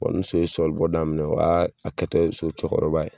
Bɔn ni so ye sɔlibɔ daminɛ o y'a a kɛ tɔ ye so cɔkɔrɔba ye